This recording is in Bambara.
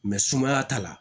sumaya t'a la